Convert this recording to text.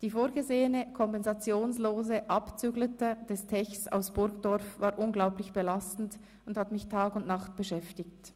Die vorgesehene kompensationslose «Abzüglete» des Techs aus Burgdorf war unglaublich belastend und hat mich Tag und Nacht beschäftigt.